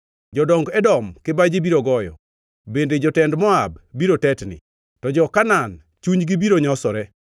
Jodong Edom kibaji biro goyo, bende jotend Moab biro tetni, to jo-Kanaan chunygi biro nyosore;